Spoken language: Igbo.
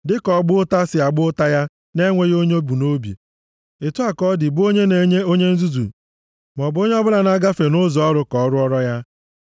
Dịka ọgba ụta si agba ụta ya na-enweghị onye o bụ nʼobi, otu a ka ọ dị bụ onye na-enye onye nzuzu maọbụ onye o bụla na-agafe nʼụzọ ọrụ ka o rụọra ya.